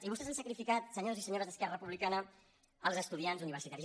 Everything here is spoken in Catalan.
i vostès han sacrifi·cat senyors i senyores d’esquerra republicana els estudiants universitaris